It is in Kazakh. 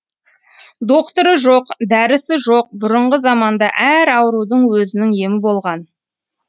доқтыры жоқ дәрісі жоқ бұрынғы заманда әр аурудың өзінің емі болған